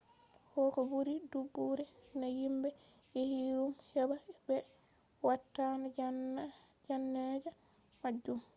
koh buri dubuure nai himbe yahi ruum heba be waatana janaa'ija majum